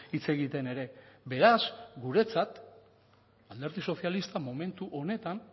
hitz egiten ere beraz guretzat alderdi sozialista momentu honetan